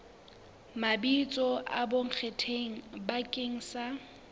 mabitso a bonkgetheng bakeng sa